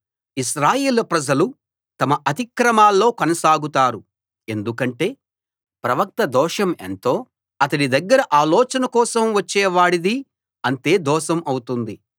ఇశ్రాయేలు ప్రజలు తమ అతిక్రమాల్లో కొనసాగుతారు ఎందుకంటే ప్రవక్త దోషం ఎంతో అతడి దగ్గర ఆలోచన కోసం వచ్చేవాడిదీ అంతే దోషం అవుతుంది